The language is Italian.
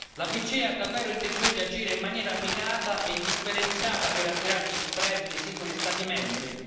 La BCE ha davvero intenzione di agire in maniera mirata e differenziata per azzerare gli spread dei singoli Stati membri?